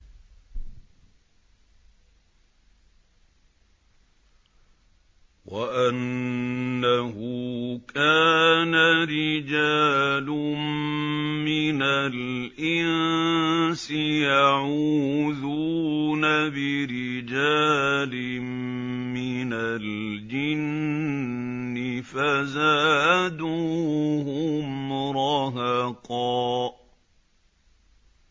وَأَنَّهُ كَانَ رِجَالٌ مِّنَ الْإِنسِ يَعُوذُونَ بِرِجَالٍ مِّنَ الْجِنِّ فَزَادُوهُمْ رَهَقًا